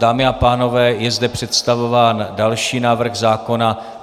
Dámy a pánové, je zde představován další návrh zákona.